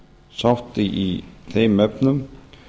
sátt í þeim efnum